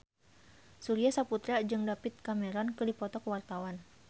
Surya Saputra jeung David Cameron keur dipoto ku wartawan